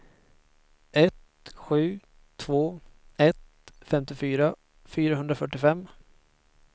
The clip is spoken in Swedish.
ett sju två ett femtiofyra fyrahundrafyrtiofem